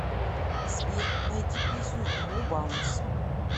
сбер найди песню мо баунс